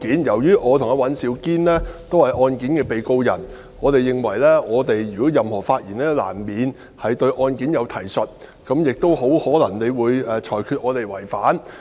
"由於我和尹兆堅議員都是案件的被告人，我們認為我們的任何發言都難免對案件有提述，主席亦很可能會因而裁決我們違反上述規定。